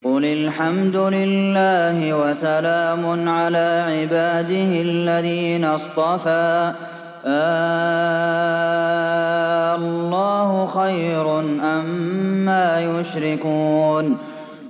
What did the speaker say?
قُلِ الْحَمْدُ لِلَّهِ وَسَلَامٌ عَلَىٰ عِبَادِهِ الَّذِينَ اصْطَفَىٰ ۗ آللَّهُ خَيْرٌ أَمَّا يُشْرِكُونَ